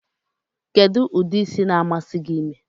Kedu udi ịsị na-amasi gi ime?